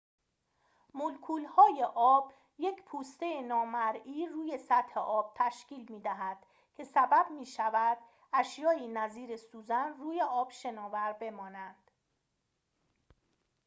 مولکول‌های آب یک پوسته نامرئی روی سطح آب تشکیل می‌دهد که سبب می‌شود اشیائی نظیر سوزن روی آب شناور بمانند